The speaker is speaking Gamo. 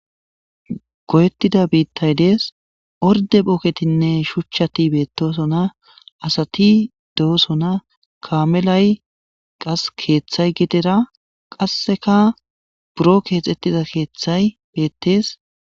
goyettida biittay dees orde phoketinne shuchchati beetosona asati doosona kamelay qas keeththay gidera qasseka buro keexxettiza keeththay beettees